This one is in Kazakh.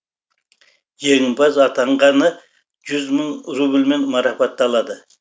жеңімпаз атанғаны жүз мың рубльмен марапатталады